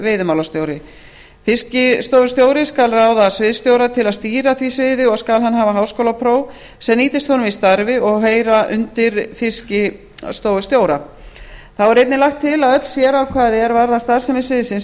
veiðimálastjóri fiskistofustjóri skal ráða sviðsstjóra til að stýra því sviði og skal hann hafa háskólapróf sem nýtist honum í starfi og heyra undir fiskistofustjóra þá er einnig lagt til að öll sérákvæði er varða starfsemi sviðsins